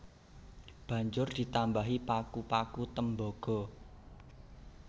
Banjur ditambahi paku paku tembaga